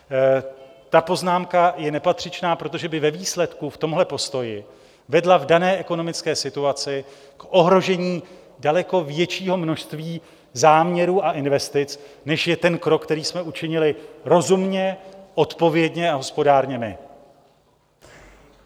Ta poznámka je nepatřičná, protože by ve výsledku v tomhle postoji vedla v dané ekonomické situaci k ohrožení daleko většího množství záměrů a investic, než je ten krok, který jsme učinili rozumně, odpovědně a hospodárně my.